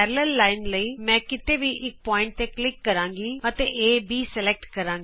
ਸਮਾਂਤਰ line ਲਈ ਮੈਂ ਕਿਤੇ ਵੀ ਇਕ ਬਿੰਦੂ ਤੇ ਕਲਿਕ ਕਰਾਂਗੀ ਅਤੇ ਏਬੀ ਸਲੈਕਟ ਕਰਾਂਗੀ